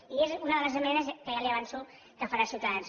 i és una de les esmenes que ja li avanço que farà ciutadans